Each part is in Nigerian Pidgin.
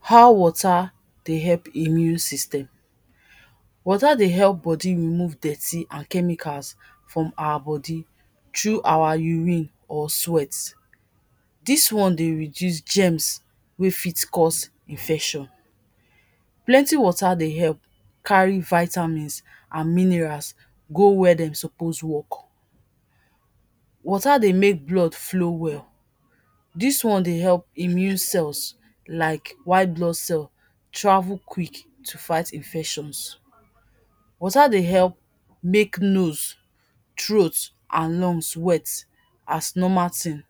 how water de help immune system, water dey help body remove dirty and chemicals from our body through our urine or sweat. dis one de reduce germs wer fit cause infection. plenty water de help carry vitamins and minerals go wer dem suppose work. water de make blood flow well. dis one de help immune cells like white blood cells travel quick to fight infections. water de help make nose, throat and lungs wet as normal thing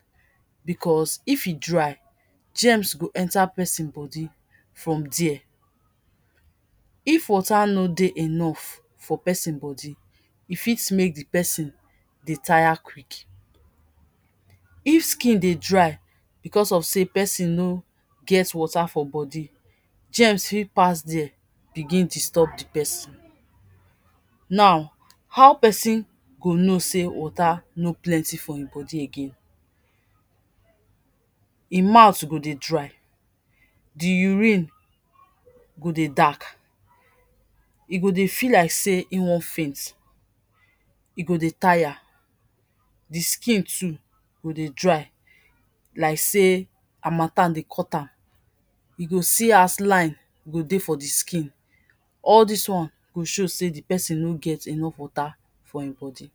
because if e dry, germs go enta person body from der. if water no de enough for person body, e fit make de person de tire quick. if skin de dry because of say de person no get water for body, germs fit pass der begin disturb di person. now how person go know sey water no plenty for him body again, him mouth go de dry, di urine go de dark, e go de feel like sey him want faint, e go de tire, di skin too go de dry like sey harmattan de cut am, e go see as line go de for de skin. all dis one go show sey di person no get enough water for him body.